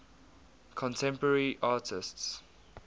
contemporary artists